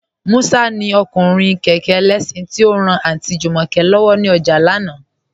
Musa ni ọkùnrin kẹkẹ ẹlẹ́ṣin, ti o ran Aunty Jumoke lọ́wọ ni ọjà lánà.